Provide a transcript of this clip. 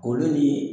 Olu ni